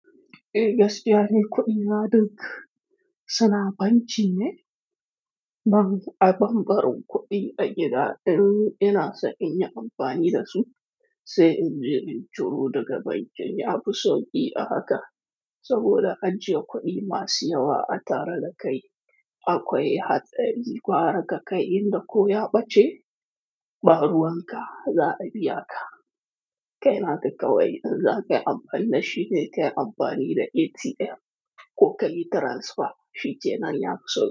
Eh gaskiya ne kuɗi na dinka suna banki ne, man a banɓarin kuɗi a gida ɗin ina so in yi amfani da su, sai in je in ciro daga bankin, ya fi sauƙi a haka. Saboda an je kuɗi masu yawa a tara da kai, akwai hatsari gwara ga kai inda ko ya ɓace, ɓaruwan ka za a biya ka. Kai na kuka wai in za ka yi amfani da shi, sai ka yi amfani da ATM ko ka yi transfer, shi ce na ya fi sauƙi.